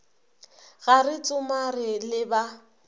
ge re tsomare le ba